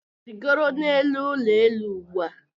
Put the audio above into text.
Rigoro n'elu ụlọ elu ugbu a!